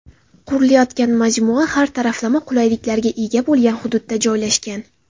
Qurilayotgan majmua har taraflama qulayliklarga ega bo‘lgan hududda joylashgan.